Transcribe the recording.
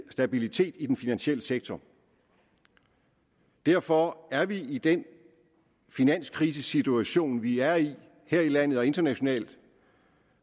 stabilitet i den finansielle sektor derfor er vi i den finanskrisesituation som vi er i her i landet og internationalt